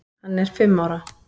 Hann er fimm ára.